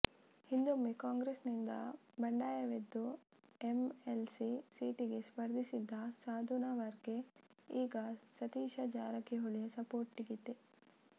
ಹಿಂದೊಮ್ಮೆ ಕಾಂಗ್ರೆಸ್ನಿಂದ ಬಂಡಾಯವೆದ್ದು ಎಂಎಲ್ಸಿ ಸೀಟಿಗೆ ಸ್ಪರ್ಧಿಸಿದ್ದ ಸಾಧುನವರ್ಗೆ ಈಗ ಸತೀಶ ಜಾರಕಿಹೊಳಿಯ ಸಪೋರ್ಟಿದೆ